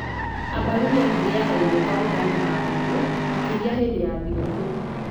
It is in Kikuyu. Abaruya marĩĩaga irio ta ugali na ngũkũ, makĩria hĩndĩ ya thigũkũ.